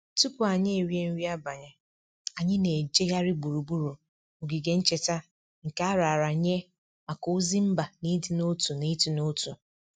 Tupu anyị erie nri abalị, anyị na-ejegharị gburugburu ogige ncheta nke a raara nye maka ozi mba na ịdị n'otu na ịdị n'otu